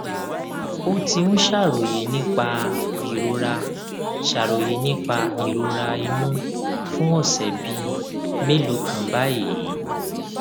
ó ti ń ṣàròyé nípa ìrora ṣàròyé nípa ìrora inú fún ọsẹ bíi mélòó kan báyìí